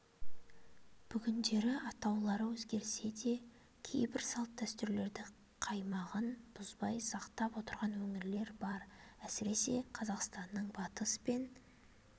бүгіндері атаулары өзгерсе де кейбір салт-дәстүрлерді қаймағын бұзбай сақтап отырған өңірлер бар әсірес қазақстанның батыс пен